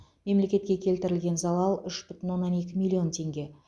мемлекетке келтірілген залал үш бүтін оннан екі миллион теңге